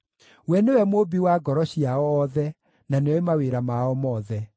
we nĩwe mũũmbi wa ngoro ciao othe, na nĩoĩ mawĩra mao mothe.